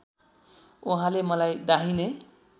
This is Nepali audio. उहाँले मलाई दाहिने